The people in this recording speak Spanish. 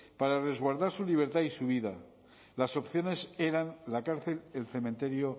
para resguardar su libertad y su vida las opciones eran la cárcel el cementerio